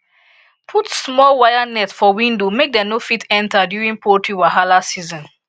put small wire net for window make dem no fit enter during poultry wahala season